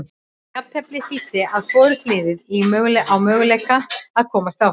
Jafnteflið þýddi að hvorugt liðið á möguleika að komast áfram.